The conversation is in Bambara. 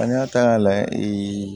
An y'a ta k'a lajɛ